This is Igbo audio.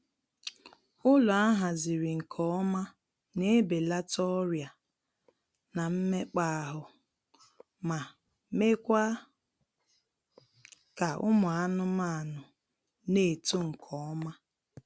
Ụlọ ahaziri nke ọma na ebelata ọrịa na mmekpaahụ, ma meekwaa ka ụmụ anmaanụ na-eto nkeọma